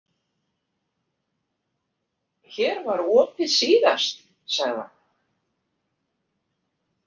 Hér var opið síðast, sagði hann.